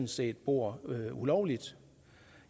set bor ulovligt